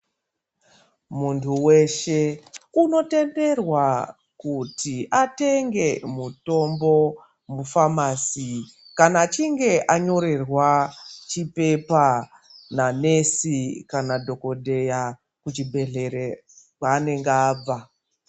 Muntu weshe unotenderwa kuti atenge mutombo mufamasi kana achinge anyorerwa chipepa nanesi kana dhokodheya kuchibhedhlere kwaanenge abva.